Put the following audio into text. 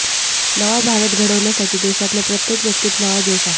नवा भारत घडवण्यासाठी देशातल्या प्रत्येक व्यक्तीत नवा जोश आहे